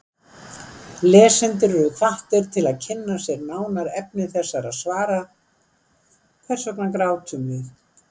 Lesendur eru hvattir til að kynna sér nánar efni þessara svara: Hvers vegna grátum við?